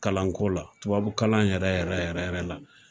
Kalan ko la tubabu kalan yɛrɛ yɛrɛ yɛrɛ la